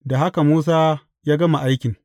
Da haka Musa ya gama aikin.